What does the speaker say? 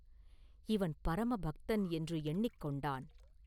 ‘இவன் பரம பக்தன்!’ என்று எண்ணிக் கொண்டான்.